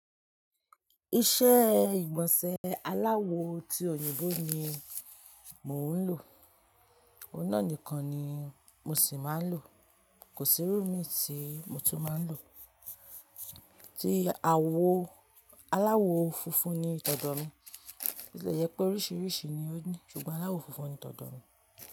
Iṣẹ́ ìgbọ̀nsẹ̀ aláwo ti òyìnbó ni mò ń lò. Ó náà nìkan ni mo sì máa ń lò. Kò sí irú mi tí mo tún máa ń lò. Tí àwo aláwo funfun ni tọ̀dọ̀ mi. Bóti lè jẹ́ pé oríṣiríṣi ni ó ní ṣùgbọ́n aláwo funfun ni tọ̀dọ̀ mi.